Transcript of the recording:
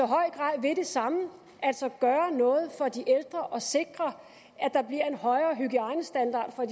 grad vil det samme altså gøre noget for de ældre og sikre at der bliver en højere hygiejnestandard for